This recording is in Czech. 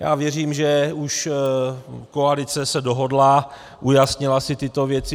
Já věřím, že už koalice se dohodla, ujasnila si tyto věci.